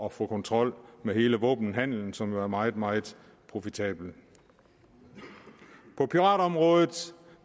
at få kontrol med hele våbenhandelen som jo er meget meget profitabel på piratområdet